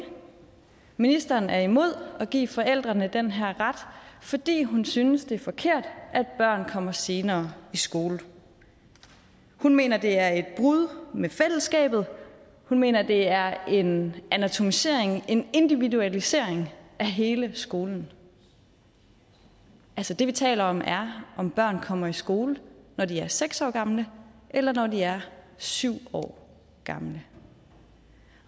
ministeren er imod at give forældrene den her ret fordi hun synes det er forkert at børn kommer senere i skole hun mener at det er et brud med fællesskabet hun mener at det er en atomisering en individualisering af hele skolen altså det vi taler om er om børn kommer i skole når de er seks år gamle eller når de er syv år gamle